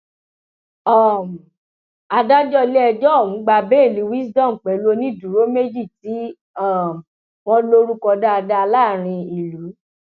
um adájọ iléẹjọ ọhún gba béèlì wisdom pẹlú onídùúró méjì tí um wọn lórúkọ dáadáa láàrin ìlú